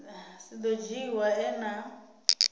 si do dzhiiwa e na